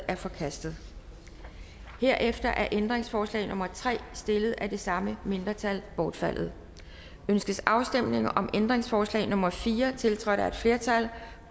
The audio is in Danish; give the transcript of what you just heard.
er forkastet herefter er ændringsforslag nummer tre stillet af det samme mindretal forkastet ønskes afstemning om ændringsforslag nummer fire tiltrådt af et flertal